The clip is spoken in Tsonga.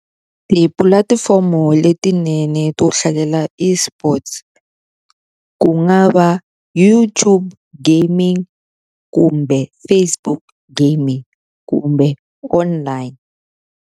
Tipulatifomo letinene to hlalela eSports ku nga va YouTube gaming, kumbe Facebook gaming, kumbe online.